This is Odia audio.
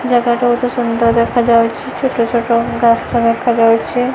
ଜାଗାଟା ବୋହୁତ ସୁନ୍ଦର ଦେଖାଯାଉଚି ଛୋଟ ଛୋଟ ଗାସ ଦେଖାଯାଉଚି।